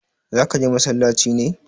zaka je masallaci ne?